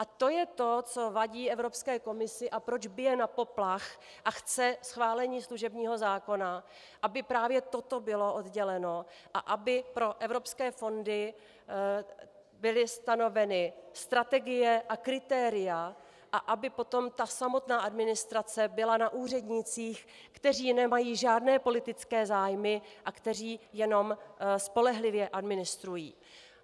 A to je to, co vadí Evropské komisi a proč bije na poplach a chce schválení služebního zákona, aby právě toto bylo odděleno a aby pro evropské fondy byly stanoveny strategie a kritéria a aby potom ta samotná administrace byla na úřednících, kteří nemají žádné politické zájmy a kteří jenom spolehlivě administrují.